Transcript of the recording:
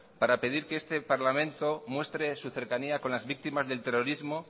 para pedir que este parlamento muestre su cercanía con las víctimas del terrorismo